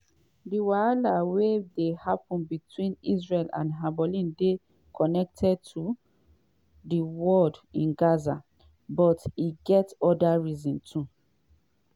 di wahala wey dey happen between israel and hezbollah dey connected to di war in gaza - but e get oda reasons too.